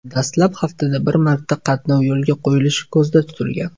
Dastlab haftada bir marta qatnov yo‘lga qo‘yilishi ko‘zda tutilgan.